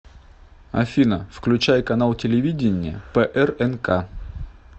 афина включай канал телевидения прнк